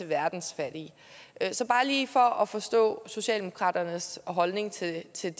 verdens fattige så bare lige for at forstå socialdemokratiets holdning til det selv